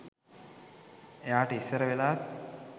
එයාට ඉස්සර වෙලාත්